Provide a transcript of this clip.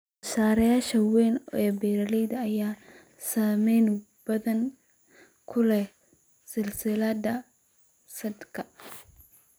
Soosaarayaasha waaweyn ee beeralayda ayaa saameyn badan ku leh silsiladaha saadka.